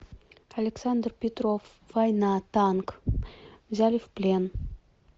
александр петров война танк взяли в плен